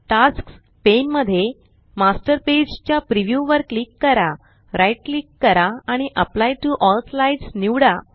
tasks pane मध्ये master page च्या preview वर क्लिक करा राइट क्लिक करा आणि एप्ली टीओ एल स्लाईड्स निवडा